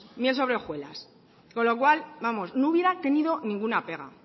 miel sobre hojuelas con lo cual no hubiera tenido ninguna pega